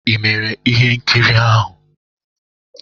Ị mere ihe nkiri ahụ?